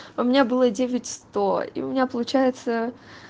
у меня было девять сто и у меня получается